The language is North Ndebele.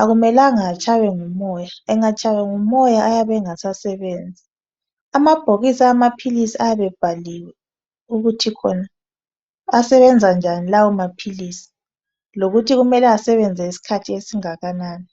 Akumelanga atshaywe ngumoya. Engatshaywa ngumoya ayabe engasasebenzi. Amabhokisi amaphilisi ayabe ebhaliwe ukuthi asebenza njani lawo maphilisi, lokuthi kumele asebenza isikhathi esingakanani.